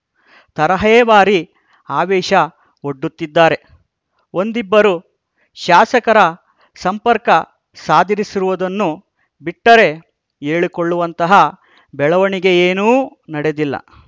ತರಹೇವಾರಿ ಆವೇಷ ಒಡ್ಡುತ್ತಿದ್ದಾರೆ ಒಂದಿಬ್ಬರು ಶಾಸಕರ ಸಂಪರ್ಕ ಸಾಧಿಸಿರುವುದನ್ನು ಬಿಟ್ಟರೆ ಹೇಳಿಕೊಳ್ಳುವಂತಹ ಬೆಳವಣಿಗೆಯೇನೂ ನಡೆದಿಲ್ಲ